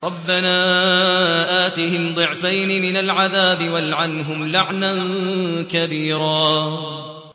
رَبَّنَا آتِهِمْ ضِعْفَيْنِ مِنَ الْعَذَابِ وَالْعَنْهُمْ لَعْنًا كَبِيرًا